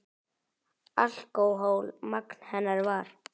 Alkóhól magn hennar var.